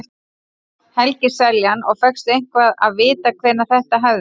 Helgi Seljan: Og fékkstu eitthvað að vita hvenær þetta hefði?